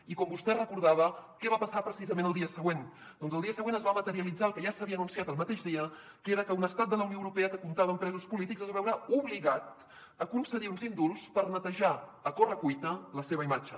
i com vostè recordava què va passar precisament el dia següent doncs el dia següent es va materialitzar el que ja s’havia anunciat el mateix dia que era que un estat de la unió europea que comptava amb presos polítics es va veure obligat a concedir uns indults per netejar a correcuita la seva imatge